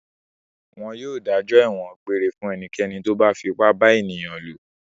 Wọn yóò dájọ́ ẹ̀wọ̀n egbére fún ẹnikẹ́ni tó bá fipá bá ènìyàn lò.